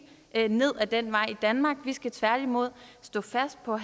ned ad den vej i danmark vi skal tværtimod stå fast på at